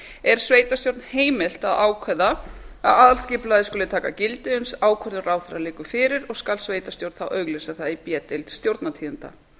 er sveitarstjórn heimilt að ákveða að aðalskipulagið skuli taka gildi uns ákvörðun ráðherra liggur fyrir og skal sveitarstjórn þá auglýsa það í b deild stjórnartíðinda